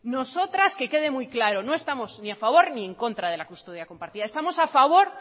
nosotras que quede muy claro no estamos ni a favor ni en contra de la custodia compartida estamos a favor